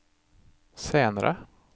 senere